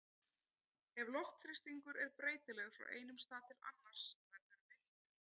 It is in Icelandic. Ef loftþrýstingur er breytilegur frá einum stað til annars verður vindur.